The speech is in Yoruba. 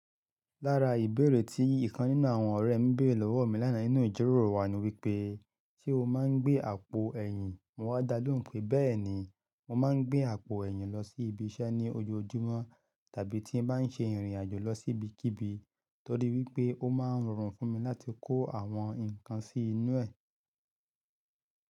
Lára ìbéèrè tí ìkan nínú àwọn ọ̀rẹ́ mi béèrè lọ́wọ́ mi lánàá nínú ìjíròrò wa ni wípé, ṣé o máa ń gbé àpò ẹ̀yìn? Mo wá dalóhùn pé bẹ́ẹ̀ni, mo máa ń gbé àpò ẹ̀yìn lọ sí ibi iṣẹ́ ní ojoojúmọ́ tàbí tí mo bá ń ṣe ìrìnàjò lọ sí ibikíbi, torí wípé ó máa ń rọrùn fún mi láti kó àwọn nǹkan sí inú ẹ̀.